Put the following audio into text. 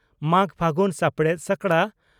ᱢᱟᱜᱽᱼᱯᱷᱟᱹᱜᱩᱱ, ᱥᱟᱯᱲᱮᱛ ᱥᱚᱠᱲᱟ